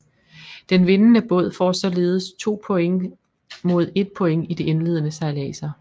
Den vindende båd får således 2 points mod 1 point i de indledende sejladser